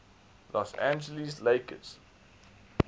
los angeles lakers